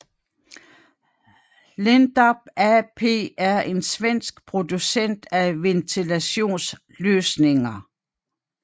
Lindab AB er en svensk producent af ventilationsløsninger